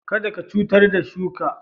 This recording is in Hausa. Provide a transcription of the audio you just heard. Kada ka cutar da shuka